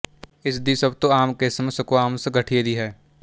ਇਸ ਦੀ ਸਭ ਤੋਂ ਆਮ ਕਿਸਮ ਸਕੁਆਮਸ ਗਠੀਏ ਦੀ ਹੈ